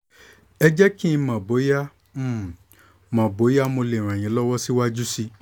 ẹ jẹ́ kí n mọ̀ bóyá n mọ̀ bóyá mo lè ràn yín lọ́wọ́ síwájú sí i